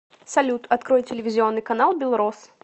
салют открой телевизионный канал белрос